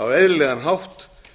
á eðlilegan hátt